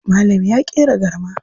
Malam ya ƙera garma.